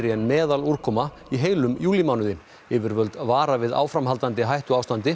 en meðalúrkoma í heilum júlímánuði yfirvöld vara við áframhaldandi hættuástandi